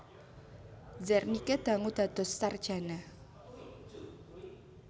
Zernike dangu dados sarjana